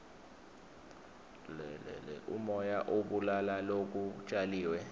lomoya ubulala lokutjaliwe